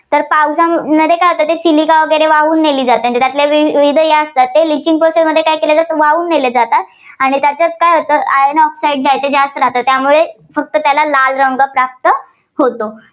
तर पावसा, नदी सिलिका वगैरे वाहून नेली जाते, त्यातल्या वि~विविध या असतात, त्या litching process मध्ये वाहून नेल्या जातात आणि त्याच्यात काय होतं Iron oxide जास्त राहातं त्यामुळे फक्त त्याला लाल रंग प्राप्त होतो.